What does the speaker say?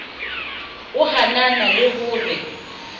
o hanana le ho re